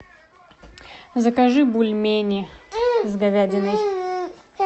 закажи бульмени с говядиной